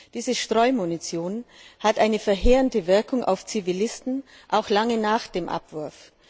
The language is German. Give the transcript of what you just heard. Diese Streumunition hat eine verheerende Wirkung auf Zivilisten, auch lange nach dem Abwurf.